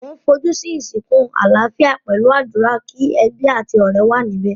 Mo n fojú si ìsìnkú alálafíà pẹ̀lu àdúrà, ki ebí àti ọ̀rẹ́ wa níbẹ̀.